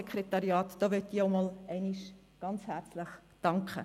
Deshalb möchte ich hier auch einmal herzlich danken.